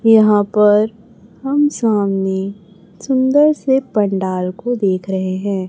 यहां पर हम सामने सुंदर से पंडाल को देख रहे हैं।